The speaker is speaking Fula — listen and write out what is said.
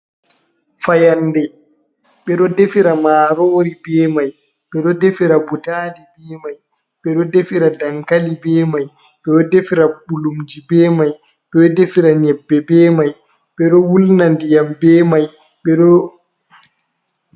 fayande ɓeɗo defira marori be Mai, ɓeɗo defira butali be Mai, ɓeɗo defira dankali be Mai, ɓeɗo defira bulumji be Mai, ɓeɗo defira nyebbe be Mai, ɓeɗo wulna ndiyam bemai.